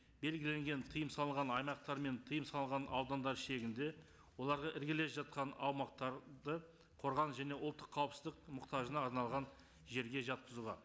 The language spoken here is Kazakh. белгіленген тыйым салған аймақтар мен тыйым салған аудандар шегінде оларға іргелес жатқан аумақтарды қорғаныс және ұлттық қауіпсіздік мұқтажына арналған жерге жатқызуға